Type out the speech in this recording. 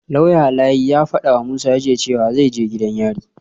Lauya Layi ya fadawa Musa jiya cewa zai je gidan yari